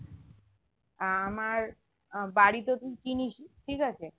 আহ আমার আহ বাড়ি তো চিনিসই ঠিক আছে